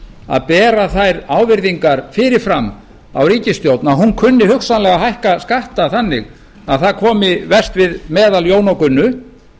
að bera þær ávirðingar fyrirfram á ríkisstjórn að hún kunni hugsanlega að hækka skatta þannig að það komi verst við meðaljón og gunnu en